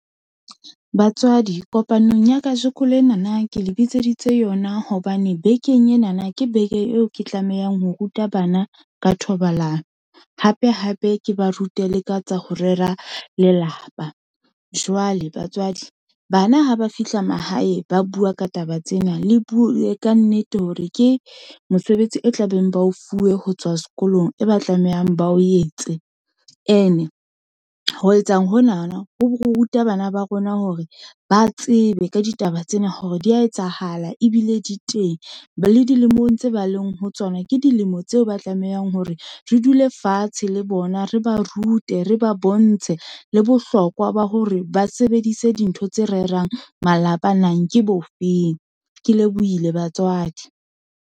Batswadi kopanong ya kajeko lenana ke le bitseditse yona, hobane bekeng enana ke beke eo ke tlamehang ho ruta bana ka thobalano, hape, hape ke ba rute le ka tsa ho rera lelapa. Jwale batswadi bana ha ba fihla mahae, ba bua ka taba tsena, le bue ka nnete hore ke mosebetsi e tlabeng ba o fuwe ho tswa sekolong, e ba tlamehang ba o yetse. Ene ho etsa honana, ho ruta bana ba rona hore ba tsebe ka ditaba tsena, hore di ya etsahala, ebile di teng, le dilemong tse ba leng ho tsona, ke dilemo tseo ba tlamehang hore re dule fatshe le bona, re ba rute re ba bontshe, le bohlokwa ba hore ba sebedise dintho tse rerang malapa nang, ke bofeng. Ke lebohile batswadi.